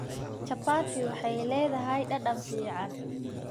Chapati waxay leedahay dhadhan fiican.